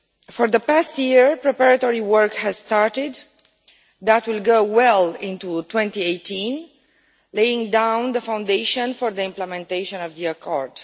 For the past year, preparatory work has started that will go on well into 2018 laying down the foundation for the implementation of the accord.